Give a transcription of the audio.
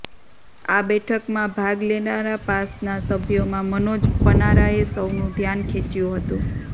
આ બેઠકમાં ભાગ લેનારા પાસના સભ્યોમાં મનોજ પનારાએ સૌનું ધ્યાન ખેંચ્યુ હતુ